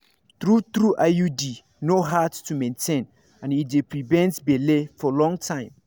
true-trueiud no hard to maintain and e dey prevent belle for long time